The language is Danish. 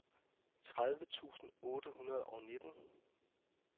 tredive tusind otte hundrede og nitten